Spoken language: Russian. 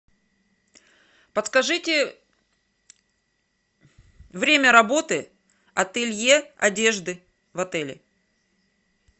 подскажите время работы ателье одежды в отеле